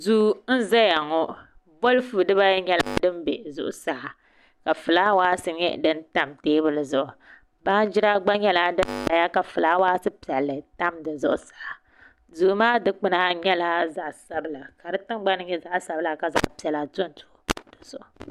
Duu n ʒɛya ŋɔ bolfu dibayi nyɛla din bɛ zuɣusaa ka fulaawaasi nyɛ din tam teebuli zuɣu baanjira gba nyɛla din ʒɛya ka fulaawaasi piɛlli tam di zuɣusaa duu maa dikpuna nyɛla zaɣ sabila ka di tingbani nyɛ zaɣ sabila ka zaɣ piɛla dondo di zuɣu